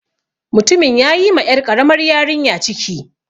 Mutumin ya yi ma 'yar ƙaramar yarinyar ciki.